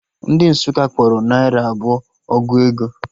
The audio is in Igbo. Ndị Nsukka kpọrọ naira abụọ ọgụ ego